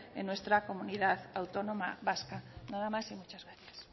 en nuestra comunidad autónoma vasca nada más y muchas gracias